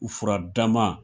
U furadama